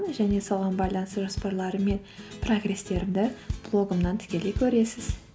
және соған байланысты жоспарларым мен прогресстерімді блогымнан тікелей көресіз